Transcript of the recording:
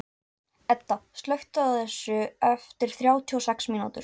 Edda, slökktu á þessu eftir þrjátíu og sex mínútur.